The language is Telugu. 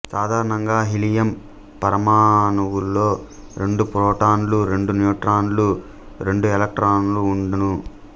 సాధారణంగా హీలియం పరమాణువులో రెండు ప్రోటాన్లు రెండు న్యూట్రాన్లు రెండు ఎలక్ట్రాన్లు ఉండును